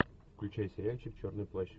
включай сериальчик черный плащ